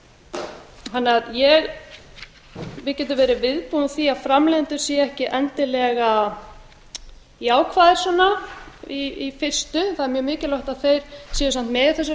bíða ekki eftir evrópusambandinu við getum verið viðbúin því að framleiðendur séu ekki endilega jákvæðir í fyrstu það er mjög mikilvægt að þeir séu samt